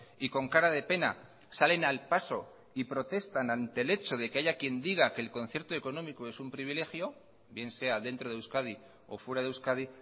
y con cara de pena salen al paso y protestan ante el hecho de que haya quien diga que el concierto económico es un privilegio bien sea dentro de euskadi o fuera de euskadi